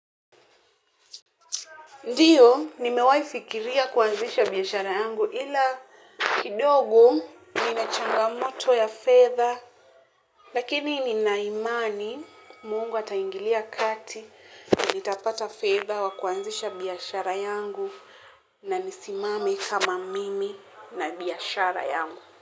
Ndiyo nimewai fikiria kuanzisha biashara yangu ila kidogo nina changamoto ya fedha lakini nina imani, mungu ataingilia kati, nitapata fedha wa kuanzisha biashara yangu na nisimame kama mimi na biashara yangu.